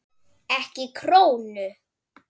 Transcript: Ekki krónu!